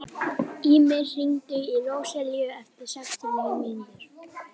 Ýmir, hringdu í Róselíu eftir sextíu og níu mínútur.